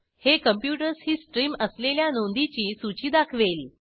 हे कॉम्प्युटर्स ही स्ट्रीम असलेल्या नोंदीची सूची दाखवेल